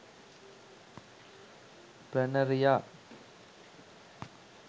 planaria